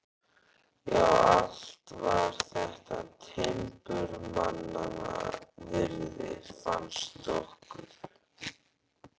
Já, allt var þetta timburmannanna virði, fannst okkur.